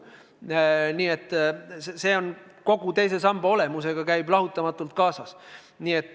Selline muutlikkus käib teise samba olemusega lahutamatult kaasas.